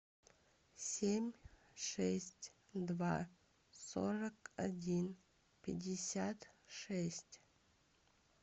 семь шесть два сорок один пятьдесят шесть